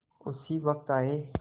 उसी वक्त आये